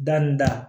Da ni da